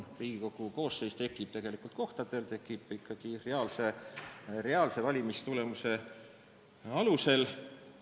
Riigikogu koosseis tekib tegelikult kohtadel reaalse valimistulemuse alusel.